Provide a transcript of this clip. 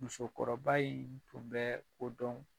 Musokɔrɔba in tun bɛ o dɔn.